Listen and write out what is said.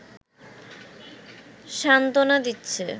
সান্ত্বনা দিচ্ছে